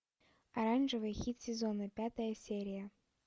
оранжевый хит сезона пятая серия